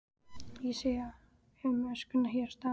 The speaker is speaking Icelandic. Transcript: Ég sé um öskuna hér á staðnum.